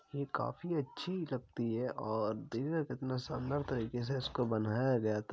ये काफी अच्छी लगती है और देखिये न कितने शानदार तरीके से इसको बनाया गया था।